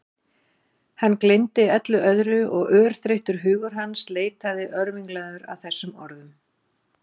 Hann gleymdi öllu öðru og örþreyttur hugur hans leitaði örvinglaður að þessum orðum.